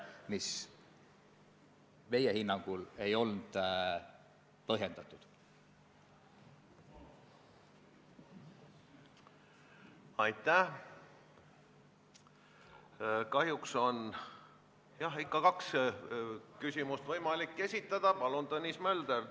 Ma saan vastata ainult nii, et komisjonis seda, et võtta näiteks sotsiaalkomisjonilt seisukoht, arutelul ei olnud.